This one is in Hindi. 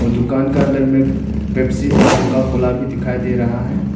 और दुकान का अदंर में पेप्सी और कोका कोला भी दिखाई दे रहा है।